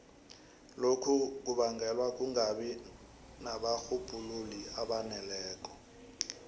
lokhu kubangelwa kungabi nabarhubhululi abaneleko